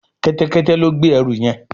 Kẹ́tẹ́kẹ́tẹ́ ló gbé ẹrù yén.